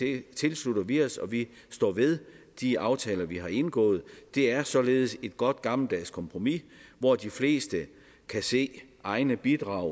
det tilslutter vi os og vi står ved de aftaler vi har indgået det er således et godt gammeldags kompromis hvor de fleste kan se egne bidrag